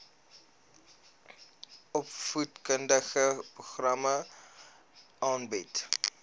opvoedkundige programme aanbied